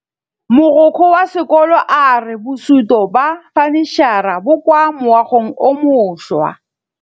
Mogokgo wa sekolo a re bosutô ba fanitšhara bo kwa moagong o mošwa.